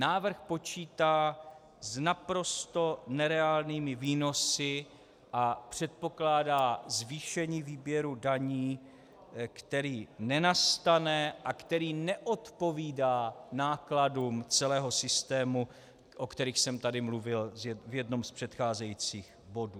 Návrh počítá s naprosto nereálnými výnosy a předpokládá zvýšení výběru daní, který nenastane a který neodpovídá nákladům celého systému, o kterých jsem tady mluvil v jednom z předcházejících bodů.